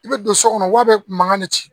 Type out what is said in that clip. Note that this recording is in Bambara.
I bɛ don so kɔnɔ wa bɛ mankan de ci